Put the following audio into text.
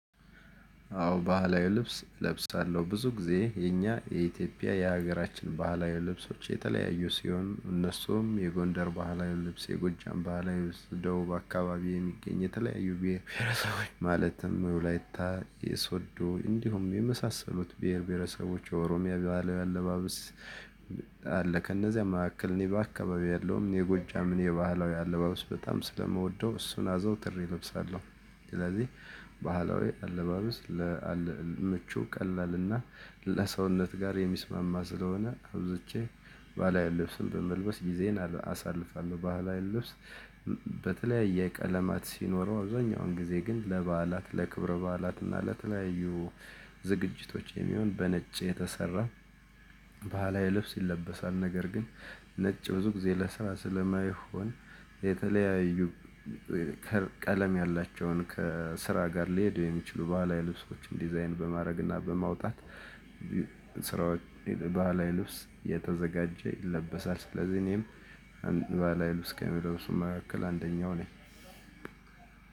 አዎ ባህላዊ ልብስ እለብሳለሁ ብዙ ጊዜ የኛ የኢትዮጵያ የሀገራችን ባህላዊ ልብሶች የተለያዩ ሲሆን እነሱም የጎንደር ባህላዊ ልብስ የጎጃም ባህላዊ ልብስ ደቡብ አካባቢ የሚገኝ የተለያዩ ብሄር ብሄረሰቦች ማለትም የወላይታ የሶዶ እንዲሁም የመሳሰሉት ብሄር ብሄረሰቦች የኦሮሚያ ባህላዊ አለባበስ። አለ ከነዚያም መካከል እኔ በአካባቢዬ ያለውን የጎጃምን የባህላዊ አለባበስ በጣም ስለምወደው እሱን አዘውትሬ እለብሳለሁ። ስለዚህ ባህላዊ አለባበስ ለአል ምቹ ቀላልና ለሰውነት ጋር የሚስማማ ስለሆነ አብዝቼ ባህላዊ ልብስን በመልበስ ጊዜን አሳልፋለሁ። ባህላዊ ልብስ በተለያየ ቀለማት ሲኖረው አብዛኛውን ጊዜ ግን ለበዓላት ለክብረ በዓላት እና ለተለያዩ ዝግጅቶች የሚሆን በነጭ የተሰራ ባህላዊ ልብስ ይለበሳል። ነገር ግን ነጭ ብዙ ጊዜ ለስራ ስለማይሆን የተለያዩ ከለ ቀለም ያላቸውን ከስራ ጋር ሊሄዱ የሚችሉ ባህላዊ ልብሶችን ዲዛይን በማድረግና በማውጣት ስራዎች በዓላዊ ልብስ የተዘጋጀ ይለበሳል። ስለዚህ እኔም ባህላዊ ልብስ ከሚለብሱ መካከል አንደኛው ነኝ።